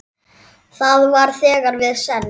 Það var þegar við send